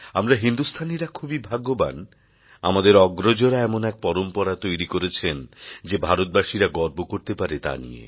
আমরা হিন্দুস্থানীরা খুবই ভাগ্যবান আমাদের অগ্রজরা এমন এক পরম্পরা তৈরি করেছেন যে ভারতবাসীরা গর্ব করতে পারে তা নিয়ে